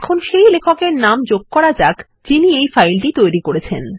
এখন সেই লেখক এর নাম যোগ করা যাক যিনি এই ফাইলটি তৈরি করেছেন